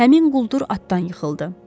Həmin quldur atdan yıxıldı.